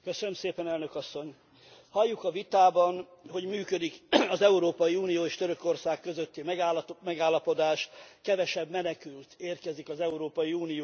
Elnök Asszony, halljuk a vitában, hogy működik az Európai Unió és Törökország közötti megállapodás, kevesebb menekült érkezik az Európai Unióba.